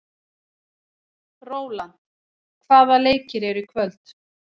Rólant, hvaða leikir eru í kvöld?